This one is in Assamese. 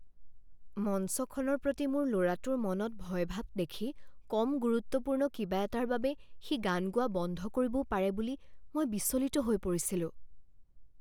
মঞ্চখনৰ প্ৰতি মোৰ ল'ৰাটোৰ মনত ভয়ভাৱ দেখি কম গুৰুত্বপূৰ্ণ কিবা এটাৰ বাবে সি গান গোৱা বন্ধ কৰিবও পাৰে বুলি মই বিচলিত হৈ পৰিছিলোঁ।